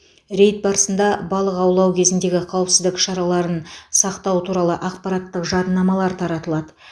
рейд барысында балық аулау кезіндегі қауіпсіздік шараларын сақтау туралы ақпараттық жадынамалар таратылады